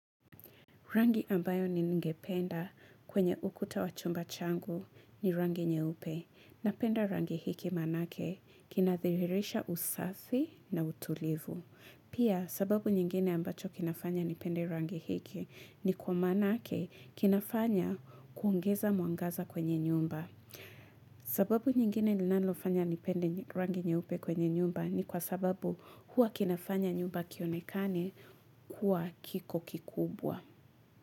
Rangi ambayo ningependa kwenye ukuta wachumba changu ni rangi nyeupe napenda rangi hiki manake kinathiririsha usafi na utulivu. Pia sababu nyingine ambacho kinafanya nipende rangi hiki ni kwa manake kinafanya kuongeza mwangaza kwenye nyumba. Sababu nyingine linalofanya nipende rangi nyeupe kwenye nyumba ni kwa sababu hua kinafanya nyumba kionekane kuwa kiko kikubwa.